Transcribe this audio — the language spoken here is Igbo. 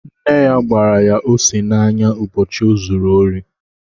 Nne ya gbara ya ose n'anya ụbọchị o zuru ori